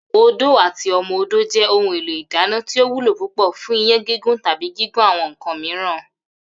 Odó àti o̩mo̩-odó jé̩ ohun èlò ìdáná tí ó wúlò púpò̩ fún iyán gígún tàbí gígún àwo̩n nǹkan mìíràn